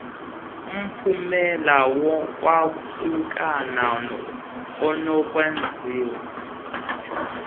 umphumela wokwahlukana onokwenziwa